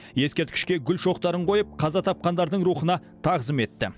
ескерткішке гүл шоқтарын қойып қаза тапқандардың рухына тағзым етті